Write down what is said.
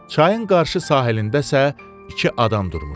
Çayın qarşı sahilində isə iki adam durmuşdu.